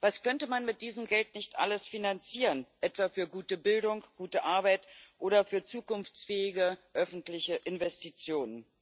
Was könnte man mit diesem Geld nicht alles finanzieren, etwa für gute Bildung, gute Arbeit oder für zukunftsfähige öffentliche Investitionen!